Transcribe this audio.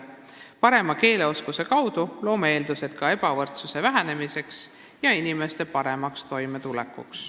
Parema keeleoskuse kaudu loome eeldusi ka ebavõrdsuse vähenemiseks ja inimeste paremaks toimetulekuks.